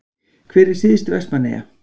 Hver er syðst Vestmannaeyja?